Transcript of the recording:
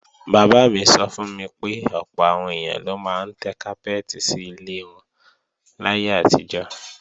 Bàbá mi sọ fún mi pé ọ̀pọ̀ àwọn èèyàn ló máa ń tẹ́ kápẹ́ẹ̀tì sí ilẹ̀ wọn láyé àtijọ́